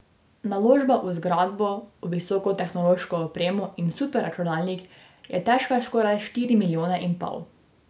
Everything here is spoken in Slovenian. Naložba v zgradbo, v visokotehnološko opremo in superračunalnik je težka skoraj štiri milijone in pol.